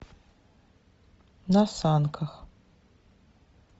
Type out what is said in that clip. на санках